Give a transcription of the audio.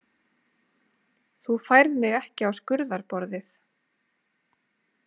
Þú færð mig ekki á skurðarborðið.